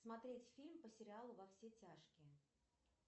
смотреть фильм по сериалу во все тяжкие